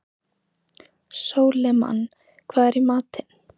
Sólimann, hvað er í matinn?